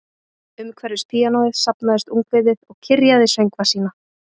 Umhverfis píanóið safnaðist ungviðið og kyrjaði söngva sína